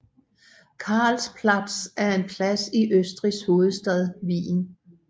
Karlsplatz er en plads i Østrigs hovedstad Wien